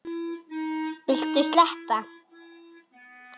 Viltu sleppa!